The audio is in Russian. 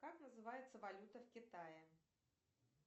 как называется валюта в китае